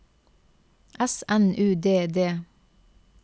S N U D D